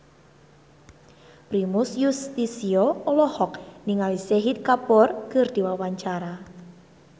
Primus Yustisio olohok ningali Shahid Kapoor keur diwawancara